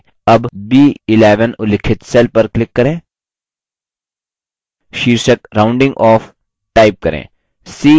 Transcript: अब b11 उल्लिखित cell पर click करें शीर्षक rounding off type करें